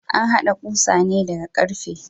An hada kusa ne daga karfe.